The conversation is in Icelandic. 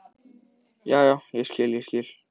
Já, já, ég skil, ég skil.